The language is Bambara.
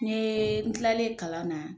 N ye n tilalen kalan na